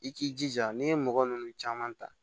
I k'i jija n'i ye mɔgɔ nunnu caman ta